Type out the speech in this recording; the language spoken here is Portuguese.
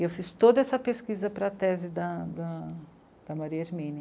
E eu fiz toda essa pesquisa para a tese da Maria Hermínia.